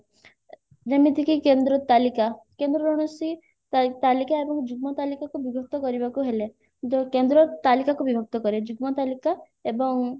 ଯେମିତି କି କେନ୍ଦ୍ର ତାଲିକା କେନ୍ଦ୍ରର କୌଣସି ତା ତାଲିକା ଏବଂ ଯୁଗ୍ମ ତାଲିକାକୁ ବିଭକ୍ତ କରିବାକୁ ହେଲେ କେନ୍ଦ୍ର ତାଲିକାକୁ ବିଭକ୍ତ କରେ ଯୁଗ୍ମ ତାଲିକା ଏବଂ